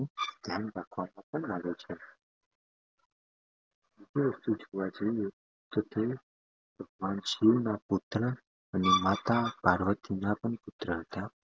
પોતાના અને માતા પાર્વતી ના પણ પુત્ર હતા